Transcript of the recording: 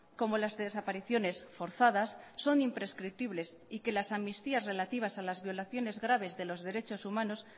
como las desapariciones forzadas son imprescriptibles y que las amnistías relativas a las violaciones graves de los derechos humanos